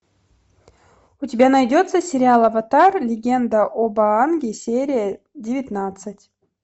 у тебя найдется сериал аватар легенда об аанге серия девятнадцать